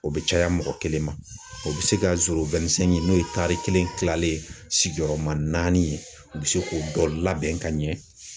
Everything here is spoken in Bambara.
O bɛ caya mɔgɔ kelen ma, o bɛ se ka ɲini n'o ye tari kelen kilanlen sigiyɔrɔma naani ye ,o bɛ se k'o labɛn ka ɲɛ.